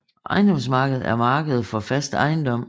Ejendomsmarkedet er markedet for fast ejendom